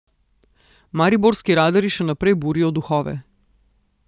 Mariborski radarji še naprej burijo duhove.